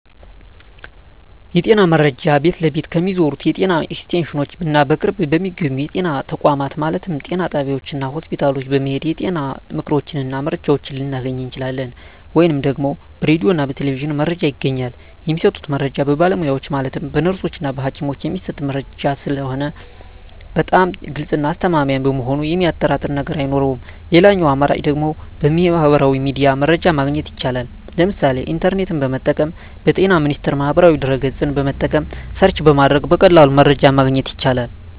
የጤና መረጃ ቤት ለቤት ከሚዞሩት የጤና ኤክስቴንሽኖች እና በቅርብ በሚገኙ የጤና ተቋማት ማለትም ጤና ጣቢያዎች እና ሆስፒታል በመሔድ የጤና ምክሮችን እና መረጃዎችን ልናገኝ እንችላለን። ወይም ደግሞ በራዲዮ እና በቴሌቪዥንም መረጃ ይገኛል። የሚሰጡት መረጃዎች በባለሙያዎች ማለትም በነርሶች እና በሀኪሞች የሚሰጥ መረጂ ስለሆነ በጣም ግልፅ እና አስተማማኝ በመሆኑ የሚያጠራጥር ነገር አይኖረውም ሌላኛው አማራጭ ደግሞ በሚህበራዊ ሚዲያ መረጃ ማግኘት ይቻላል ለምሳሌ ኢንተርኔትን በመጠቀም በጤና ሚኒስቴር ማህበራዊ ድህረ ገፅን በመጠቀም ሰርች በማድረግ በቀላሉ መረጃን ማግኘት ይቻላል።